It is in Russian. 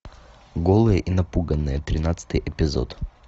голые и напуганные тринадцатый эпизод